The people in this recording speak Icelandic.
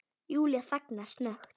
Júlía þagnar snöggt.